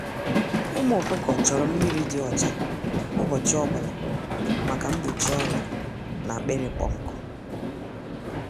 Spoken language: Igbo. Ụmụ ọkụkọ chọrọ mmiri dị ọcha ụbọchị ọbụla maka mgbochi ọrịa na akpịrị ịkpọ nkụ